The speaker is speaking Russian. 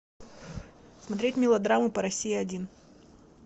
смотреть мелодраму по россии один